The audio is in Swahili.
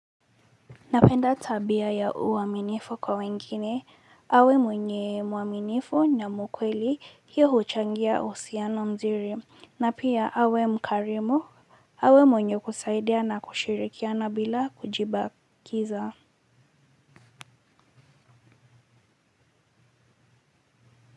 Napenda tabia ya uaminifu kwa wengine, awe mwenye muaminifu na mkweli hiyo huchangia uhusiano mzuri, na pia awe mkarimu, awe mwenye kusaidia na kushirikiana bila kujibakiza.